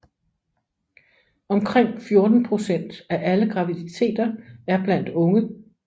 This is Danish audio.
Omkring 14 procent af alle graviditeter er blandt unge